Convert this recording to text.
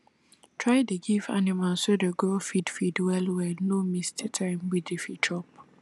try dey give animals wey dey grow feed feed well wellno miss the time wey dey fit chop